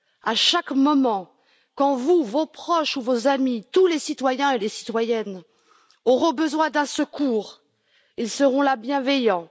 À chaque moment, quand vous, vos proches ou vos amis, tous les citoyens et les citoyennes, auront besoin d'un secours, ils seront là, bienveillants